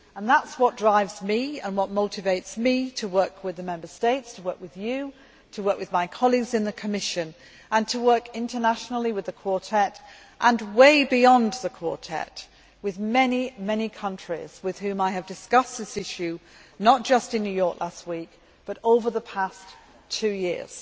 That is what drives me and what motivates me to work with the Member States, to work with you, to work with my colleagues in the Commission, and to work internationally with the Quartet and way beyond the Quartet with many countries with whom I have discussed this issue, not just in New York last week, but over the past two years.